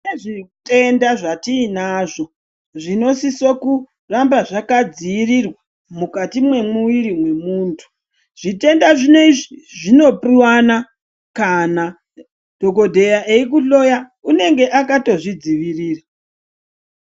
Kune zvitenda zvatiinazvo zvinosise kuramaba zvakadzirirwa mukati mwemuwiri mwemuntu zvitenda zvinezvi zvinopuwana kana dhokodheya eikuhloya unenge akatozvidzivirira.